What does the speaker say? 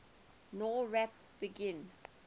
nowrap begin